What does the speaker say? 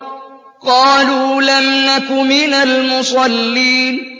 قَالُوا لَمْ نَكُ مِنَ الْمُصَلِّينَ